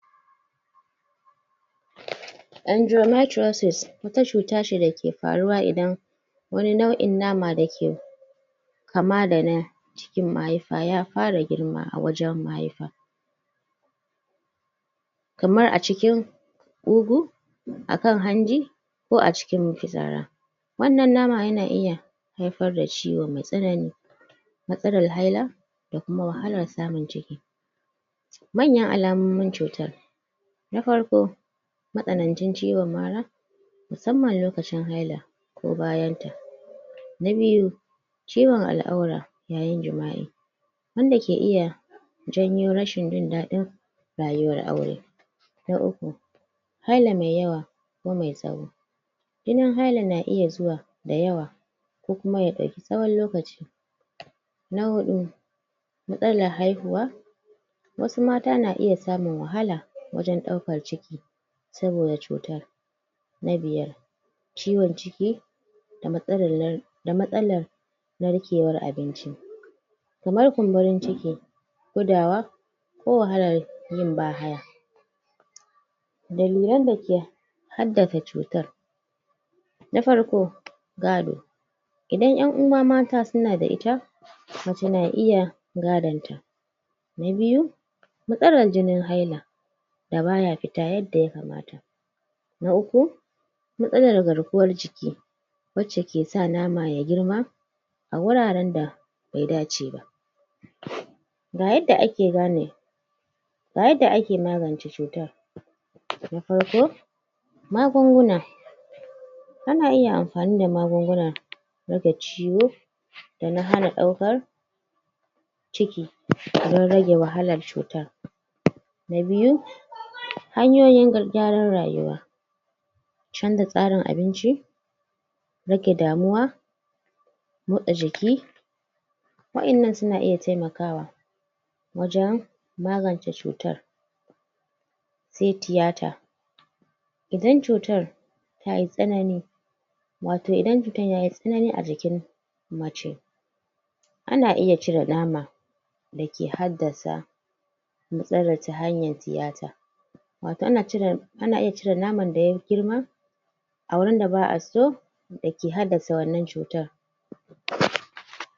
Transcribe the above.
Endometriosis: Wata cuta ce da ke faruwa, idan wani nau'in nama da ke kama da na cikin mahaifa, ya fara girma a wajen mahaifa. Kamar a cikin ƙugu, a kan hanji, ko a cikin mafitsara. Wannan nama yana iya haifar da ciwo mai tsanani, matsalar haila, da kuma wahalar samun ciki. Manyan alamomin cutar: Na farko, matsanancin ciwon mara, musamman lokacin haila, ko bayan ta. Na biyu, Ciwon al'aura yayin jima'i, wanda ke iya janyo rashin jin daɗin rayuwar aure. Na uku, haila mai yawa, ko mai tsawo. Jinin hailan na iya zuwa da yawa, ko kuma ya ɗauki tsawon lokaci. Na huɗu, matsalar haihuwa. Wasu mata na iya samun wahala wajen ɗaukar ciki, saboda cutar. Na biyar, ciwon ciki,? da matsalar narkewar abinci. Kamar kumburin ciki, gudawa, da matsalar yin bahaya. Dalilan da ke haddasa cutar: Na farko, gado. Idan ƴan uwa mata suna da ita, mace na iya gadon ta. Na biyu, matsalar jinin haila da baya fita yadda ya kamata. Na uku, matsalar garkuwar jiki, wacce ke sa nama ya girma a wuraren da bai dace ba.? Ga yadda ake magance cutar.? Na farko, magunguna. Ana iya amfani da magunguna lokaci wuff, da na hana ɗaukar ciki,? don rage wahalar cutar. Na biyu, hanyoyin? gyaran rayuwa. Canza tsarin abinci, rage damuwa, motsa jiki. Wa'innan suna iya taimakawa, wajen magance cutar. Sai tiyata, idan cutar tayi tsanani, wato idan cutar yayi tsanani a jikin mace, ana iya cire nama da ke haddasa matsalar, ta hanyar tiyata. Wato? ana iya cire naman da ya girma, a wurin da ba a so, da ke haddasa wannan cutar.?